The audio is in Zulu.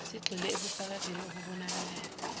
sigxile ebufakazini obubonakalayo